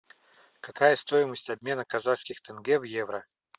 какая стоимость обмена казахских тенге в евро